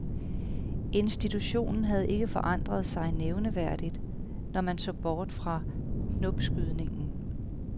Institutionen havde ikke forandret sig nævneværdigt, når man så bort fra knopskydningen.